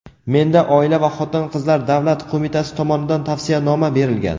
Menda Oila va xotin-qizlar davlat qo‘mitasi tomonidan tavsiyanoma berilgan.